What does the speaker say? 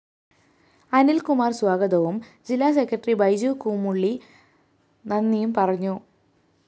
അനില്‍കുമാര്‍ സ്വാഗതവും ജില്ലാസെക്രട്ടറി ബൈജു കൂമുള്ളി നന്ദിയും പറഞ്ഞു